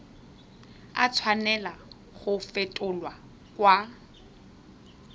a tshwanela go fetolwa kwa